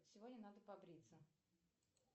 сегодня надо побриться